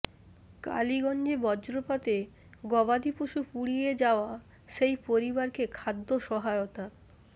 কালীগঞ্জে বজ্রপাতে গবাদিপশু পুড়িয়ে যাওয়া সেই পরিবারকে খাদ্য সহায়তা